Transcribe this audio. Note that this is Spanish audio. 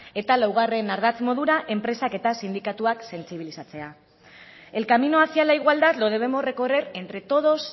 eta laugarren ardatz modura enpresak eta sindikatuak sentsibilizatzea el camino hacia la igualdad lo debemos recorrer entre todos